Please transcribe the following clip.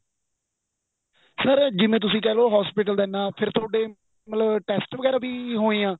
sir ਜਿਵੇਂ ਤੁਸੀਂ ਕਹਿਲੋ hospital ਦਾ ਇਹਨਾਂ ਫੇਰ ਤੁਹਾਡੇ ਮਤਲਬ test ਵਗੇਰਾ ਵੀ ਹੋਏ ਐ